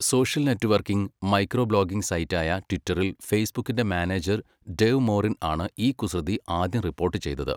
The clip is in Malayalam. സോഷ്യൽ നെറ്റ്വർക്കിംഗ്, മൈക്രോ ബ്ലോഗിംഗ് സൈറ്റായ ട്വിറ്ററിൽ ഫേസ്ബുക്കിന്റെ മാനേജർ ഡേവ് മോറിൻ ആണ് ഈ കുസൃതി ആദ്യം റിപ്പോർട്ട് ചെയ്തത്.